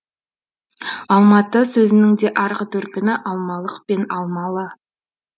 алматы сөзінің де арғы төркіні алмалық пен алмалы